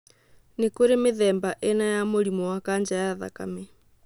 Nĩ kũrĩ mĩthemba ĩna ya mũrimũ wa kanja ya thakame